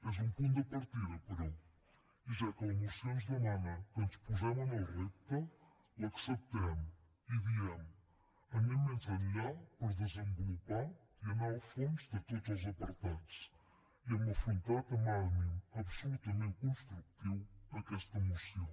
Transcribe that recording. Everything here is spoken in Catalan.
és un punt de partida però i ja que la moció ens demana que ens posem en el repte l’acceptem i diem anem més enllà per desenvolupar i anar al fons de tots els apartats i hem afrontat amb ànim absolutament constructiu aquesta moció